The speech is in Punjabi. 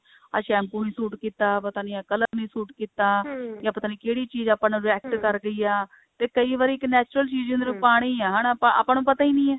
ਆਹ shampoo ਨਹੀਂ ਸ਼ੂਟ ਕੀਤਾ ਪਤਾ ਨਹੀਂ ਆਹ color ਨਹੀਂ ਸੂਟ ਕੀਤਾ ਜਾਂ ਪਤਾ ਨਹੀਂ ਕਿਹੜੀ ਚੀਜ਼ ਆਪਾਂ ਨੂੰ react ਕਰ ਰਹੀ ਆ ਤੇ ਕਈ ਵਾਰੀ ਇੱਕ natural ਚੀਜ਼ ਜਿਵੇ ਹੁਣ ਪਾਣੀ ਹਨਾ ਆਪਾਂ ਨੂੰ ਆਪਾਂ ਨੂੰ ਪਤਾ ਹੀ ਨਹੀਂ ਹੈ